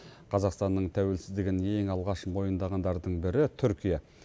қазақстанның тәуелсіздігін ең алғаш мойындағандардың бірі түркия